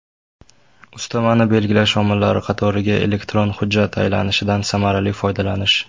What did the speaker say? Ustamani belgilash omillari qatoriga elektron hujjat aylanishidan samarali foydalanish.